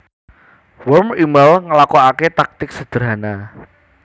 Worm émail nglakokaké taktik sederhana